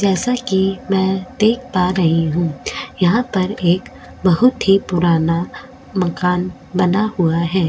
जैसा कि मैं देख पा रही हूं यहां पर एक बहुत ही पुराना मकान बना हुआ है।